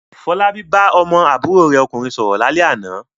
Fọlábí bá ọmọ àbúrò rẹ̀ ọkùnrin sọ̀rọ̀ lálẹ́ àná.